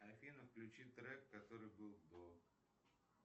афина включи трек который был до